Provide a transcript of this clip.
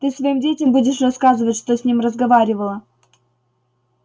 ты своим детям будешь рассказывать что с ним разговаривала